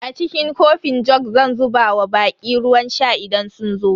A cikin kofin jug zan zuba wa baƙi ruwan sha idan sun zo.